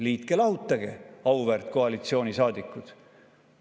Liitke-lahutage, auväärt koalitsioonisaadikud!